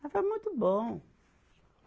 Mas foi muito bom.